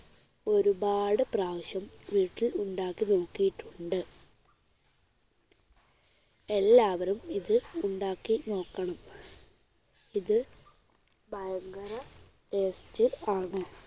ഒരുപാടു പ്രാവശ്യം വീട്ടിൽ ഉണ്ടാക്കി നോക്കിയിട്ടുണ്ട്. എല്ലാവരും ഇത് ഉണ്ടാക്കി നോക്കണം. ഇത് ഭയങ്കര taste ആണ്.